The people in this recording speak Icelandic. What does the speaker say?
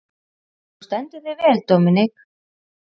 Þú stendur þig vel, Dominik!